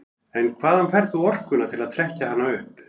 En hvaðan færð þú orkuna til að trekkja hana upp?